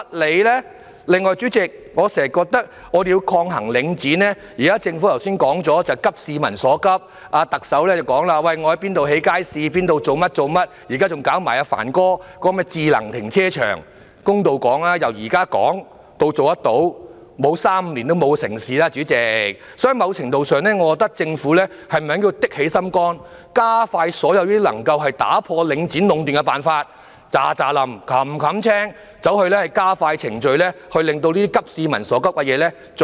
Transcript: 此外，代理主席，我經常認為，政府現時說急市民所急，特首亦表示將會在甚麼地方興建街市、在甚麼地方做甚麼事情，現在還要推行帆哥提出的智能停車場，公道地說，由現在開始討論到落實，沒有3年、5年也不可能成事，所以在某程度上，我認為政府應該下決心加快實行所有能打破領展壟斷的辦法，全速地加快程序，盡快落實這些急市民所急的措施。